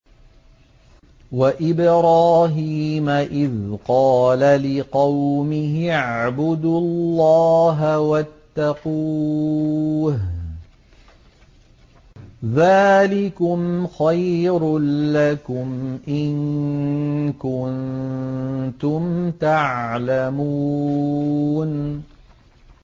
وَإِبْرَاهِيمَ إِذْ قَالَ لِقَوْمِهِ اعْبُدُوا اللَّهَ وَاتَّقُوهُ ۖ ذَٰلِكُمْ خَيْرٌ لَّكُمْ إِن كُنتُمْ تَعْلَمُونَ